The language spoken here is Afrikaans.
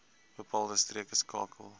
bepaalde streke skakel